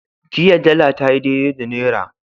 Jiya dala tayi daidai da naira.